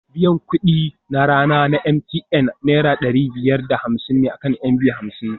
Biyan kuɗi na rana a MTN Naira ɗari biyar da hamsin ne akan MB hamsin